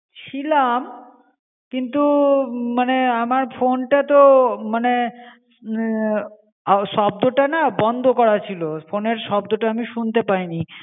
ছিলাম কিন্তু মানে আমার phone টা তো মানে আহ শব্দটা না বন্ধ করা ছিলো. phone এর শব্দটা আমি শুনতে পাইনি.